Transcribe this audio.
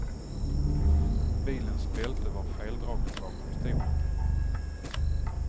Bilens bälte var feldraget bakom stolen.